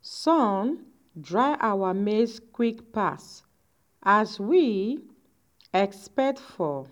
sun dry our maize quick pass as we expect for